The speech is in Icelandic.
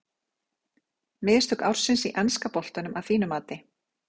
Mistök ársins í enska boltanum að þínu mati?